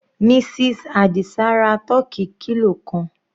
Mrs Adisa ra tọ́kì kilo kan.